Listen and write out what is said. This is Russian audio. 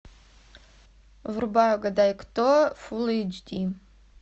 врубай угадай кто фулл эйч ди